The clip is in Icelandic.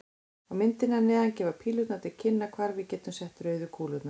Á myndinni að neðan gefa pílurnar til kynna hvar við getum sett rauðu kúlurnar.